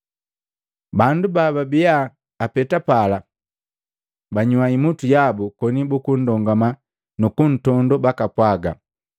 Bandu bababia apeta pala, banyua imutu yabu koni bukundongama nukuntondoo bakapwaga,